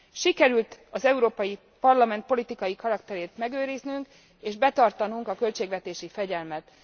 Sikerült az Európai Parlament politikai karakterét megőriznünk és betartanunk a költségvetési fegyelmet.